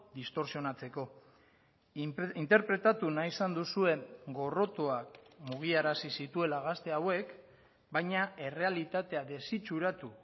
distortsionatzeko interpretatu nahi izan duzuen gorrotoak mugiarazi zituela gazte hauek baina errealitatea desitxuratu